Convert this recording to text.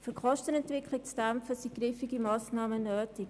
Um die Kostenentwicklung zu dämpfen, sind griffige Massnahmen nötig.